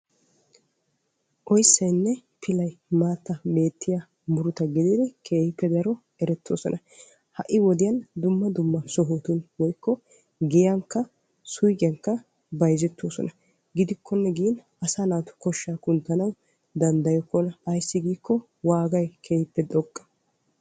oyissayinne pilay maattan beettiya muruta gididi keehippe daro erettoosona. ha'i wodiyan dumma sohotun woyikko giyankka suiqiyankka bayizettoosona. gidikkonne gin asaa naatu koshshaa kunttana danddayokkona. ayissi giikko waagay kehippe xoqqa.